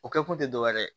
O kɛ kun te dɔwɛrɛ ye